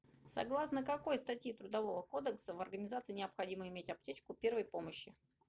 согласно какой статьи трудового кодекса в организации необходимо иметь аптечку первой помощи